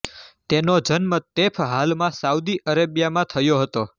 તેનો જન્મ તૈફ હાલમાં સાઉદી અરેબિયામાં થયો હતો